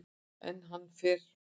En hann fer.